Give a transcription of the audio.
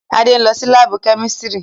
Ade n lọ si laabu kemistri